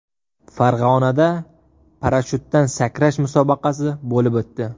Farg‘onada parashutdan sakrash musobaqasi bo‘lib o‘tdi.